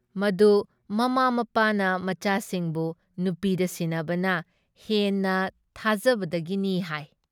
ꯃꯗꯨ ꯃꯃꯥ ꯃꯄꯥꯅ ꯃꯆꯥꯁꯤꯡꯕꯨ ꯅꯨꯄꯤꯗ ꯁꯤꯟꯅꯕꯅ ꯍꯦꯟꯅ ꯊꯥꯖꯕꯗꯒꯤꯅꯤ ꯍꯥꯏ ꯫